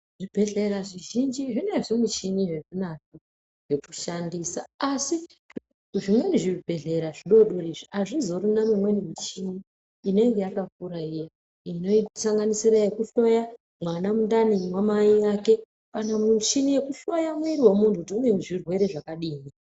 Zvi bhedhlera zvi zhinji zvine zvi muchini zve zvinazvo zveku shandisa asi zvimweni zvi bhedhlera zvi dodori azvizorina mi mweni muchini inenge yakakura iya ino sanganisira yeku hloya mwana mundani mwa mai vake kana muchini yeku hloya mwiri we muntu kuti une zvirwere zvakadini.